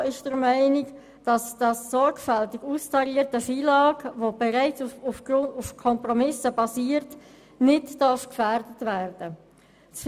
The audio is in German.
Die FiKo ist der Meinung, dass das sorgfältig austarierte FILAG, welches bereits auf Kompromissen basiert, nicht gefährdet werden darf.